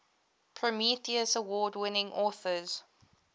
prometheus award winning authors